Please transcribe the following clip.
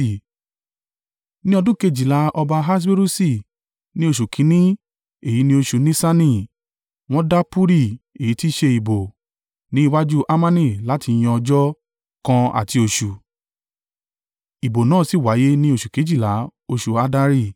Ní ọdún kejìlá ọba Ahaswerusi, ní oṣù kìn-ín-ní, èyí ni oṣù Nisani, wọ́n da puri (èyí tí í ṣe, ìbò) ní iwájú Hamani láti yan ọjọ́ kan àti oṣù, ìbò náà sì wáyé ní oṣù kejìlá, oṣù Addari.